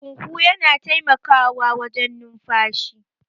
huhu yana taimakawawajwn numfashi